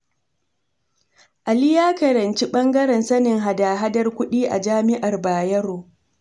Ali ya karanci ɓangaren sanin hada-hadar kuɗi a jami'ar Bayero.